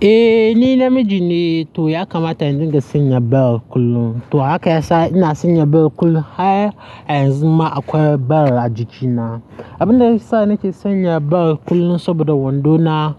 Eh ni namiji ne to ya kamata in dinga sanya bel kullum. To haka ya sa ina sanya bel kullum har a yanzu ma akwai bel a jikina. Abin da ya sa nake sanya bel kullum saboda wando na